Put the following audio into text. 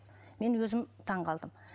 мен өзім таңғалдым